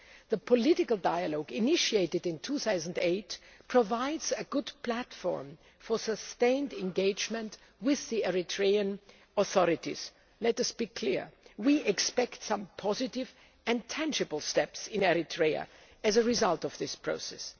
The political dialogue initiated in 2008 provides a good platform for sustained engagement with the Eritrean authorities. Let us be clear we expect some positive and tangible steps in Eritrea as a result of this process.